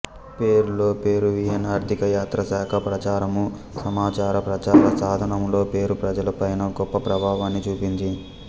పెరూలో Peruvian ఆర్థిక యాత్ర శాఖా ప్రచారము సమాచార ప్రచార సాధనములలో పేరు ప్రజలల పైన గొప్ప ప్రభావాన్ని చూపింది